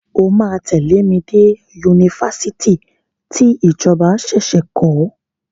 O máa tẹ̀lé mi dé Yunifásitì tí ìjọba ṣẹ̀ṣẹ̀ kọ́.